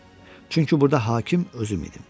Çünki burda hakim özü idi.